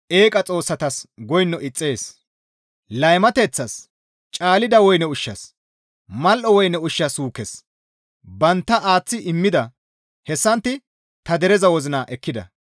«Laymateththas, Caalida woyne ushshas, mal7o woyne ushsha suukes banttana aaththi immida; hessantti ta dereza wozina ekkida.